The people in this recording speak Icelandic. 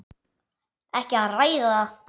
Ekki að ræða það.